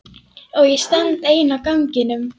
Og ég stend ein á ganginum.